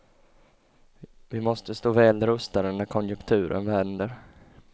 Vi måste stå väl rustade när konjunkturen vänder.